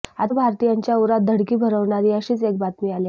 आता भारतीयांच्या उरात धडकी भरवणारी अशीच एक बातमी आली आहे